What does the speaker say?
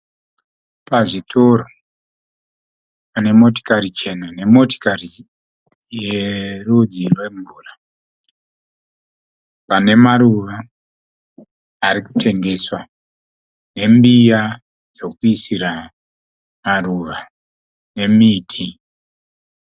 Pazvitoro pane motikari chena nemotikari yerudzi rwemvura. Pane maruva ari kutengeswa. Nembiya dzekuisira maruva nemiti.